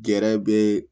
Gɛrɛ be